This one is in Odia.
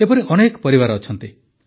ଏପରି ଅନେକ ପରିବାର ଅଛନ୍ତି